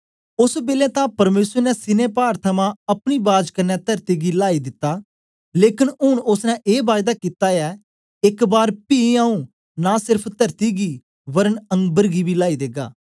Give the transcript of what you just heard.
ओस बेलै तां परमेसर ने सीनै पाड थमां अपनी बाज क्न्ने तरती गी लाइ दिता लेकन ऊन ओसने ए बायदा कित्ती ऐ एक बार पी आऊँ नां सेर्फ तरती गी वरन अम्बर गी बी लाइ देगा